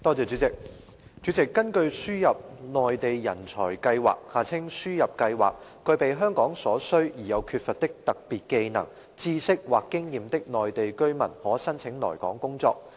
主席，根據輸入內地人才計劃，具備香港所需而又缺乏的特別技能、知識或經驗的內地居民可申請來港工作。